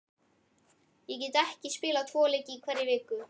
Get ég ekki spilað tvo leiki í hverri viku?